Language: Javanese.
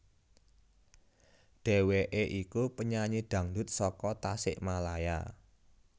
Dheweké iku penyanyi dangdut saka Tasikmalaya